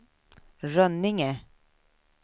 Rönninge